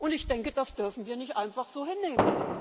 Ich denke, das dürfen wir nicht einfach so hinnehmen.